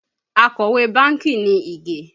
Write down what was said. Akọ̀wé bánkì ni Ige